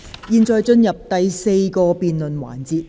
現在進入第四個辯論環節。